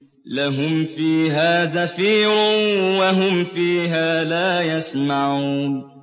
لَهُمْ فِيهَا زَفِيرٌ وَهُمْ فِيهَا لَا يَسْمَعُونَ